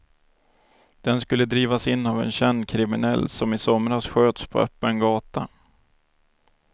Den skulle drivas in av en känd kriminell som i somras sköts på öppen gata.